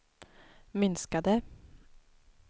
minskade